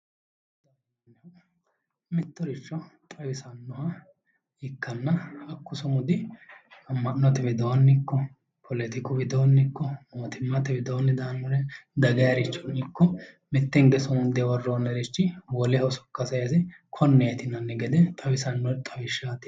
Mittoricho xawisannoha ikkanna hakku sumudi amma'notewidoonni ikko poletiku widoonni ikko mootimmate widoonni daannore dagayiricho ikko mitte hinge sumunde worroonnichi woleho sokka sayise konneeti yinanni gede xawisanno xawishaati